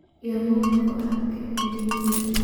Yaa mowt kuarke iindixisaa.